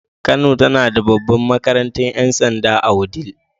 Kano tana da babbar makarantar 'yan sanda a wudil.